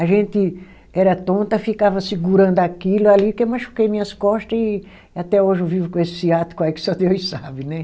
A gente era tonta, ficava segurando aquilo ali, que eu machuquei minhas costa e até hoje eu vivo com esse ciático aí que só Deus sabe, né?